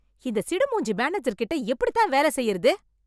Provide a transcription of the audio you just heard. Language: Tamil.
இந்த சிடு மூஞ்சி மேனேஜர் கிட்ட எப்படித் தான் வேல செய்யறது?